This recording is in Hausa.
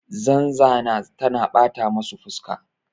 zanzana tana bata masa fuska